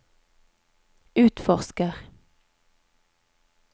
utforsker